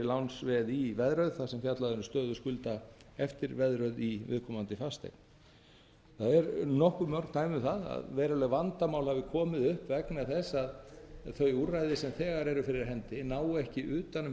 lánsveð í veðröð þar sem fjallað er um stöðu skulda eftir veðröð í viðkomandi fasteign það eru nokkuð mörg dæmi um það að veruleg vandamál hafi komið upp vegna þess að þau úrræði sem þegar eru fyrir hendi ná ekki utan um